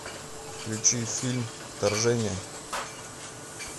включи фильм вторжение